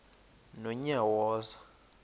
nonyawoza